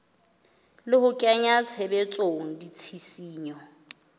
le ho kenya tshebetsong ditshisinyo